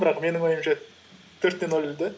бірақ менің ойымша төрт те нөл де